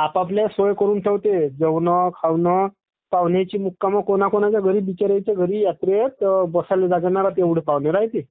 आपपापल्या सोय करुन ठेवते...जेवणं ...खावणं पाहुण्यांची मुक्काम......कोणाकोणाच्या घरी यात्रेत Sound not clear पाहुणे राह्यत्ये